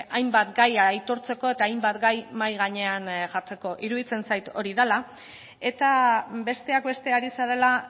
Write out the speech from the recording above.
hainbat gaia aitortzeko eta hainbat gai mahai gainean jartzeko iruditzen zait hori dela eta besteak beste ari zarela